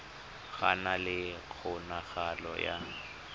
go na le kgonagalo ya